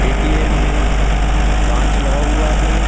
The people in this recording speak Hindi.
ए_टी_एम में काँच लगा हुआ है।